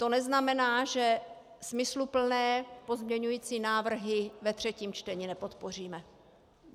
To neznamená, že smysluplné pozměňující návrhy ve třetím čtení nepodpoříme.